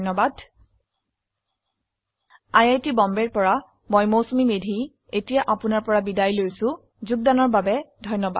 এই টিউটৰিয়েল অৰুন পাথকৰ দ্ৱাৰা যোগদান কৰা হৈছে আই আই টী বম্বে ৰ পৰা মই মৌচুমী মেধী এতিয়া আপুনাৰ পৰা বিদায় লৈছো যোগদানৰ বাবে ধন্যবাদ